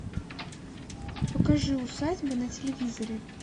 покажи усадьба на телевизоре